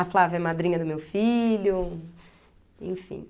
A Flávia é madrinha do meu filho, enfim.